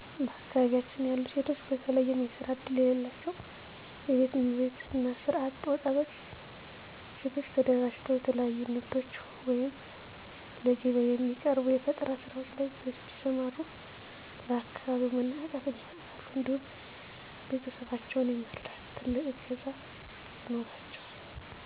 በአካባቢያችን ያሉ ሴቶች በተለየም የስራ እድል የለላቸው የቤት እመቤት እና ስራ አጥ ወጣት ሴቶች ተደራጅተው የተለያዩ ንግዶች ወይም ለገቢያ የሚቀርቡ የፈጠራ ስራዎች ላይ ቢሰማሩ ለአካባቢው መነቃቃትን ይፈጥራሉ እንዲሁም ቤተሰባቸውን የመርዳት ትልቅ እገዛ ይኖራቸዋል።